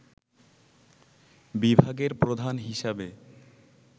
বিভাগের প্রধান হিসাবে